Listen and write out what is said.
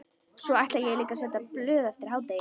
Svo ætla ég líka að selja blöð eftir hádegi.